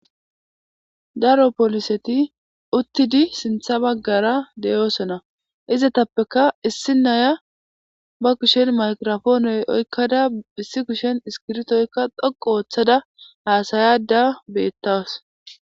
Daro poliseti uttidi sintha baggara deyoosona izetappeka issi naya ba kushen mairofooney oykkada issi kushen iskirtoykka dhoqu ooththada haasayada beettaws.